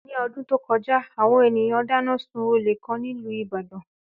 Ní ọdún tó kọjá, àwọn ènìyàn dáná sun olè kan nílùú Ìbàdàn